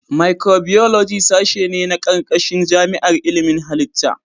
Micibiyoloji sashe ne a ƙarƙashin jami'ar ilimin halitta.